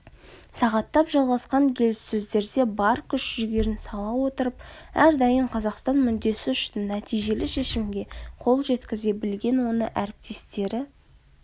сағаттап жалғасқан келіссөздерде бар күш-жігерін сала отырып әрдайым қазақстан мүддесі үшін нәтижелі шешімге қол жеткізе білген оны әріптестері